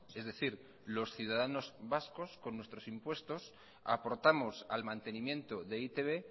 es decir los ciudadanos vascos con nuestros impuestos aportamos al mantenimiento de e i te be